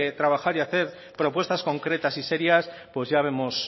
trabajar y hacer propuestas concretas y serias pues ya vemos